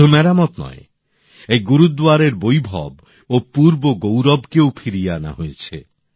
শুধু মেরামত নয় এই গুরুদ্বারের বৈভব ও পূর্ব গৌরবকেও ফিরিয়ে আনা হয়েছে